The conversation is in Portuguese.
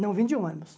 Não vim de ônibus.